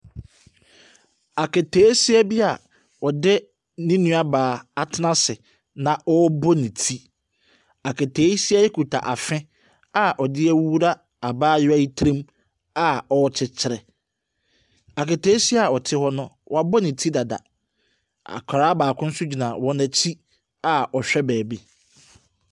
Aketesia bi a ɔde ne nua baa atena ase na a ɔrebɔ ne ti. Aketesia yi kita afe a ɔde awura abaayewa yi tiri mu a ɔrekyekyere. Aketesia a ɔte hɔ no, wabɔ ne ti dada, akwaraa baako nso gyina hɔ a ɔrehwɛ baabi.